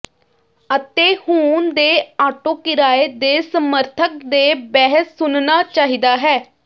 ਅਤੇ ਹੁਣ ਦੇ ਆਟੋ ਕਿਰਾਏ ਦੇ ਸਮਰਥਕ ਦੇ ਬਹਿਸ ਸੁਣਨਾ ਚਾਹੀਦਾ ਹੈ